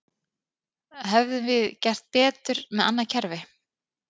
Hefðum við gert betur með annað kerfi?